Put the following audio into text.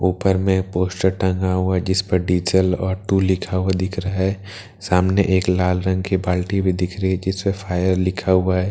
ऊपर में एक पोस्टर टंगा हुआ है जिसमे डीज़ल और टूल लिखा हुआ दिख रहा है सामने एक लाल रंग की बाल्टी भी दिख रही है जिसपे फायर लिखा हुआ है ।